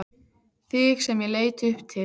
Þig sem ég leit upp til.